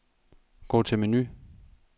Gå til menu.